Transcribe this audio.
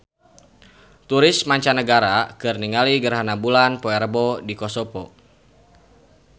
Turis mancanagara keur ningali gerhana bulan poe Rebo di Kosovo